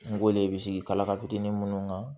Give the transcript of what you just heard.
N go le bi sigi kalaka munnu kan